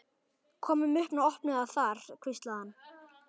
Komum upp og opnum það þar hvíslaði hann.